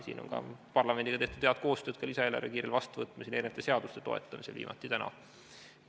Siin on ka parlamendiga tehtud head koostööd lisaeelarve kiirel vastuvõtmisel ja erinevate seaduste toetamisel, viimati täna.